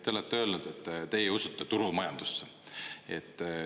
Te olete öelnud, et teie usute turumajandusse.